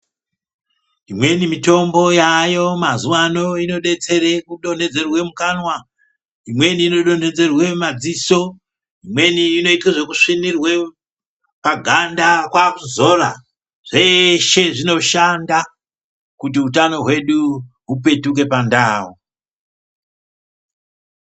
Imweni mitombo yaayo mazuwano inodetsere kudonhedzerwe mukanwa, imweni inodonhedzerwe mumadziso, imweni inoite zvekusvinirwe paganda kwakuzora zveshe zvinoshanda kuti utano hwedu hupetuke pandau.